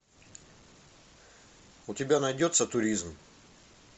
у тебя найдется туризм